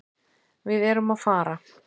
Við erum að fara.